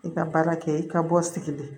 I ka baara kɛ i ka bɔ sigilen